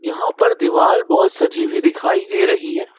वहां पर दीवाल बहोत सजी हुई दिखाई दे रही है।